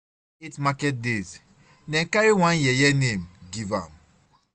After eight market days, dem carry one yeye name give am.